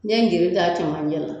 N ye geni ka cɛmancɛ la